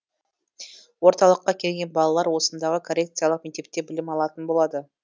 орталыққа келген балалар осындағы коррекциялық мектепте білім алатын болады